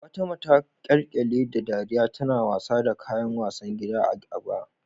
Fatima ta kyalkyale da dariya tana wasa da kayan wasan gida a Aba.